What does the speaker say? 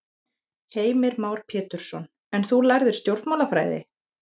Heimir Már Pétursson: En þú lærðir stjórnmálafræði?